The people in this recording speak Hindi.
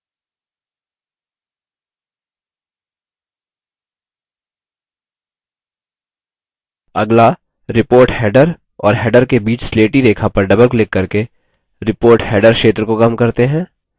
अगला report header और header के बीच स्लेटी रेखा पर डबल क्लिक करके report header क्षेत्र को कम करते हैं